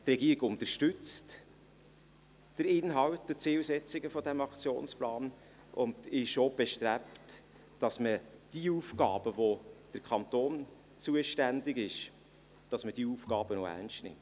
Die Regierung unterstützt den Inhalt und die Zielsetzungen dieses Aktionsplans und ist auch bestrebt, dass man diejenigen Aufgaben, für die der Kanton zuständig ist, auch ernst nimmt.